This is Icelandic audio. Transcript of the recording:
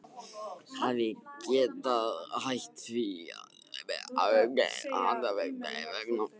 Hafi getað hætt því hans vegna.